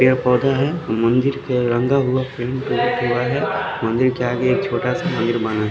यहाँ पोधा है मंदिर के रांधा हुआ मंदिर के आगे एक छोटा सा--